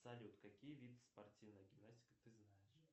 салют какие виды спортивной гимнастики ты знаешь